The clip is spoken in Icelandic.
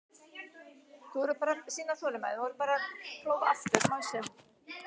Á veturna gætir sólarljóss einnig lítið og það takmarkar vöxt þörunga.